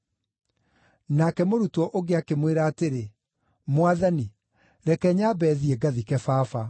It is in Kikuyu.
Nake mũrutwo ũngĩ akĩmwĩra atĩrĩ, “Mwathani, reke nyambe thiĩ ngathike baba.”